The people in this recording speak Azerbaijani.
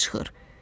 Od çıxır.